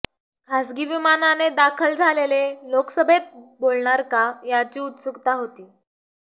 खासगी विमानाने दाखल झालेले लोकसभेत बोलणार का याची उत्सुकता होती